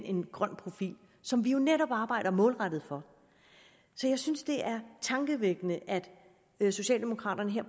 en grøn profil som vi jo netop arbejder målrettet for så jeg synes det er tankevækkende at socialdemokraterne her